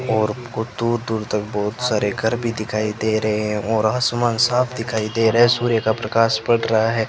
और हमको को दूर दूर तक बहुत सारे घर भी दिखाई दे रहे हैं और आसमान साफ दिखाई दे रहे हैं सूर्य का प्रकाश पड़ रहा है।